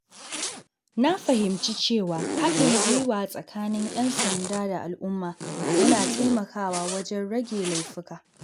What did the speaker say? Na fahimci cewa haɗin gwiwa tsakanin ‘yan sanda da al’umma yana taimakawa wajen rage laifuka.